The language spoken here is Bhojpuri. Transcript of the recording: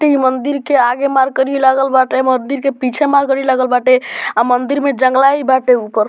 इ मंदिर के आगे मरकरी लागल बाटे | मंदिर के पीछे मरकरी लागल बाटे | आ मंदिर में जंगला भी बाटे ऊपर |